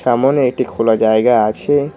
সামোনে একটি খোলা জায়গা আছে।